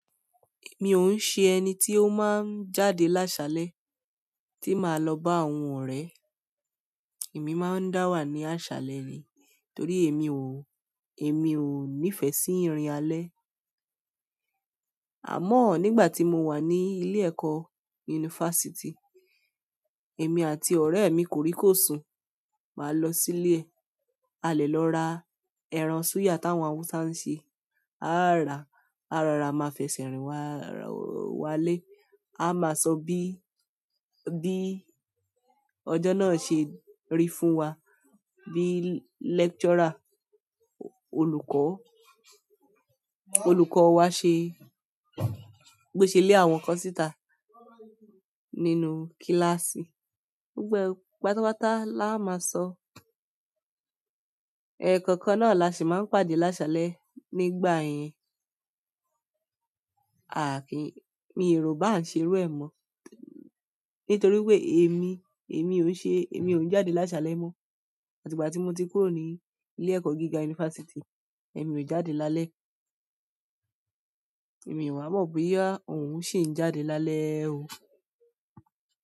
Mi o se ẹni ti o maa n jáde laṣalẹ tii máa lọ ba àwọn ọrẹ. Èmi máa ń dá wà ní àṣálẹ̀ ni torí èmi ò nífẹ̀ẹ́ sí ìrìn alẹ́. Àmọ́ nígbà tí mo wa ní ilé ẹ̀kọ́ yunifásítì, èmi àti ọ̀rẹ́ mi koríko sun, màá lọ sí ilé, a lè lọ ra ẹran súyà táwọn Hausa ń ṣe, a á rà, a rora máa fẹsẹ̀ rìn wá lé, a máa sọ bí ọjọ́ náà ṣe rí fún wa, bí lecturer, olùkọ́ wa bí ó ṣe lé àwọn kan síta nínú kíláàsì. Gbogbo e pátápátá la a máa sọ, ẹ̀ẹ̀kọ̀kan náà la sì máa ń pàdé lásalẹ̀ nígbà yẹn. Mi èrò bá ń ṣe irú ẹ̀ mọ́, nítorí pé èmi, èmi ò ń jáde lásalẹ̀ mọ́. Àti ìgbà tí mo ti kúrò ní ilé ẹ̀kọ́ gíga yunifásítì, èmi ò jáde lálẹ́. Èmi ò wa mọ̀ boya òun ṣé ń jáde lálẹ́ o.